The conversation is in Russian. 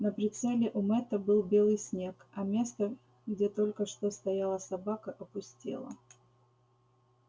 на прицеле у мэтта был белый снег а место где только что стояла собака опустело